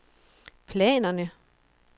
planerne